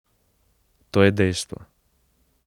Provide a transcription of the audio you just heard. To je dejstvo.